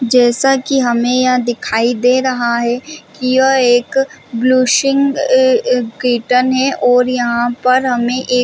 जैसा की हमें यह दिखाई दे रहा है की यह एक ब्लुएसिंग और यहाँ पर हमें एक --